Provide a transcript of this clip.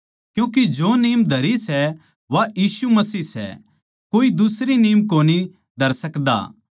क्यूँके जो नीम धरी सै वा यीशु मसीह सै कोए दुसरी नीम कोनी धर सकदा